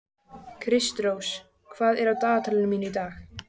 Kristrós, hvað er á dagatalinu mínu í dag?